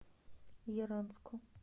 яранску